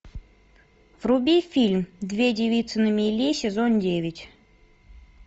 вруби фильм две девицы на мели сезон девять